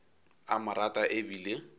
a mo rata e bile